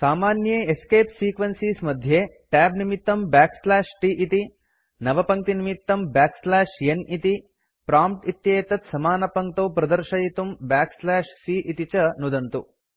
सामान्ये escape sequences मध्ये tab निमित्तं t इति नवपङ्क्तिनिमित्तं n इति प्रॉम्प्ट् इत्येतत् स्मानपङ्क्तौ प्रदर्शयितुं c इति च नुदन्तु